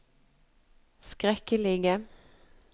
skrekkelige